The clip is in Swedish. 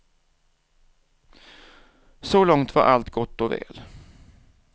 Så långt var allt gott och väl.